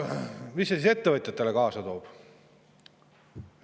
Mida see siis ettevõtjatele kaasa toob?